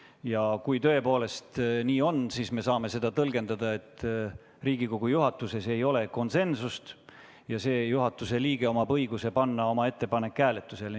Ja kuna tõepoolest nii on, siis me saame seda tõlgendada nii, et Riigikogu juhatuses ei ole konsensust, ja see juhatuse liige omab õigust panna oma ettepanek hääletusele.